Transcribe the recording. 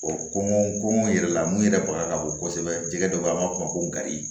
kɔngɔ kɔngɔ yɛrɛ la mun yɛrɛ baga ka bɔ kosɛbɛ jɛgɛ dɔ bɛ an b'a f'o ma ko kari